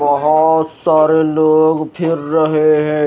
बहोत सारे लोग रहे हैं।